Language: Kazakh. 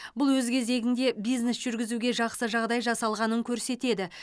бұл өз кезегінде бизнес жүргізуге жақсы жағдай жасалғанын көрсетеді